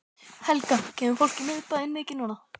Helga: Kemur fólki í miðbæinn mikið núna?